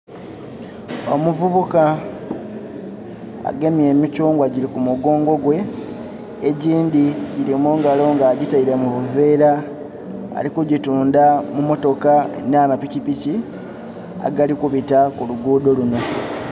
Omuvubuka agemye emikyungwa giri ku mugongo gwe egindhi gili mungalo nga agitaile mu buvera alikugitundha mu motoka na mapikipiki agali kubita kuluguudo lunho.